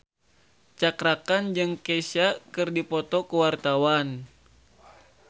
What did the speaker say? Cakra Khan jeung Kesha keur dipoto ku wartawan